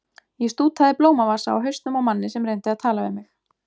Ég stútaði blómavasa á hausnum á manni sem reyndi að tala við mig.